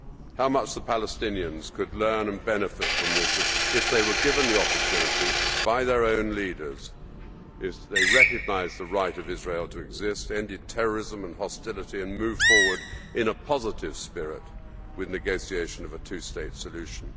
How much the Palestinians could learn and benefit from this if they were given the opportunity by their own leaders, if they recognised the right of Israel to exist, ended terrorism and hostility and moved forward in a positive spirit with negotiation of a two state solution.